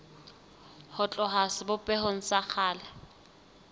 ho tloha sebopehong sa kgale